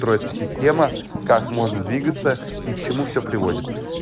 строй это система как можно двигаться и к чему всё приводит